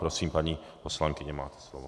Prosím, paní poslankyně, máte slovo.